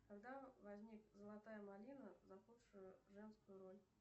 когда возник золотая малина за худшую женскую роль